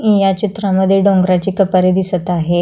या चित्रामध्ये डोंगराचे कपारे दिसत आहे.